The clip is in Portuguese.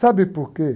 Sabe por quê?